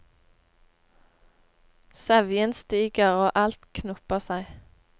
Sevjen stiger og alt knopper seg.